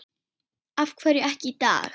Af hverju ekki í dag?